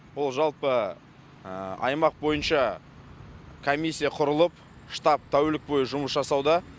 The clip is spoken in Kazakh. ол жалпы аймақ бойынша комиссия құрылып штаб тәулік бойы жұмыс жасауда